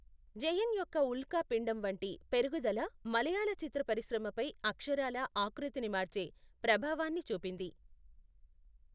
జయన్ యొక్క ఉల్కా పిండం వంటి పెరుగుదల మలయాళ చిత్ర పరిశ్రమపై అక్షరాలా ఆకృతిని మార్చే ప్రభావాన్ని చూపింది.